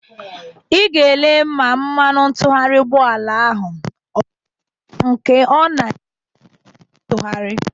Ị ga-ele ma mmanụ ntụgharị ụgbọala a ọ kwụchala nke a ọ na-esizi ike ịtụgharị